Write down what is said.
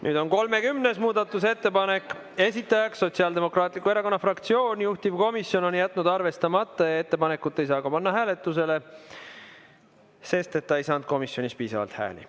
Nüüd on 30. muudatusettepanek, esitajaks Sotsiaaldemokraatliku Erakonna fraktsioon, juhtivkomisjon on jätnud arvestamata ja ettepanekut ei saa ka panna hääletusele, sest ta ei saanud komisjonis piisavalt hääli.